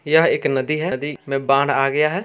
यह एक नदी है नदी मे बाढ़ आ गया है।